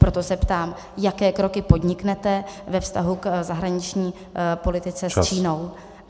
Proto se ptám: Jaké kroky podniknete ve vztahu k zahraniční politice s Čínou?